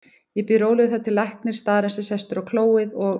Ég bíð rólegur þar til læknir staðarins er sestur á klóið og